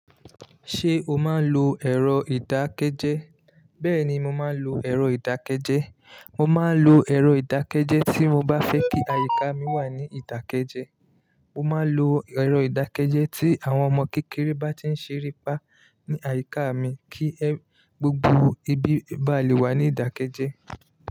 Ṣé o máa ń lo ẹ̀rọ ìdákẹ́jẹ́? Bẹ́ẹ̀ni, mo máa ń lo ẹ̀rọ ìdákẹ́jẹ́. Mo máa ń lo ẹ̀rọ ìdákẹ́jẹ́ tí mo bá fẹ́ kí àyíká mi wà ní ìdákẹ́jẹ́. Mo máa ń lo ẹ̀rọ ìdákẹ́jẹ́ tí àwọn ọmọ kékeré bá tí ń ṣere pá ní àyíká mi kí gbogbo ibi bá lè wà ní ìdákẹ́jẹ́